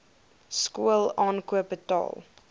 skool aankoop betaal